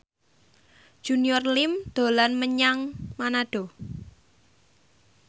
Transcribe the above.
Junior Liem dolan menyang Manado